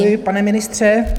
Děkuji, pane ministře.